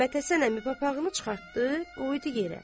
Məmmədhəsən əmi papağını çıxartdı, qoydu yerə.